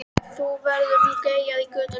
Þá verður nú geyjað í götunni.